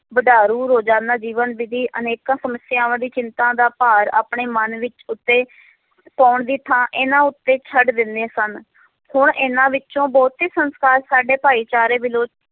ਵਡਾਰੂ ਰੋਜ਼ਾਨਾ ਜੀਵਨ ਦੀ ਅਨੇਕਾਂ ਸਮੱਸਿਆਵਾਂ ਦੀ ਚਿੰਤਾ ਦਾ ਭਾਰ ਆਪਣੇ ਮਨ ਵਿੱਚ ਉੱਤੇ ਪਾਉਣ ਦੀ ਥਾਂ ਇਹਨਾਂ ਉੱਤੇ ਛੱਡ ਦਿੰਦੇ ਸਨ ਹੁਣ ਇਹਨਾਂ ਵਿੱਚੋਂ ਬਹੁਤੇ ਸੰਸਕਾਰ ਸਾਡੇ ਭਾਈਚਾਰੇ ਵਿਲੋ